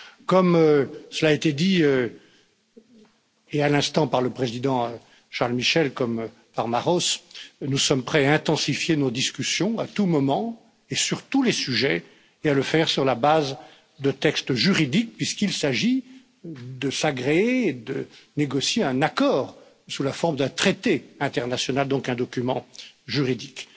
Comme cela a été dit à l'instant par le président Charles Michel comme par Maroš Šefčovič, nous sommes prêts à intensifier nos discussions à tout moment et sur tous les sujets, et à le faire sur la base de textes juridiques, puisqu'il s'agit de s'agréer, de négocier un accord sous la forme d'un traité international, donc un document juridique.